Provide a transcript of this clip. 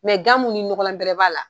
gamu ni ɲɔgɔnla bɛrɛ b'a la.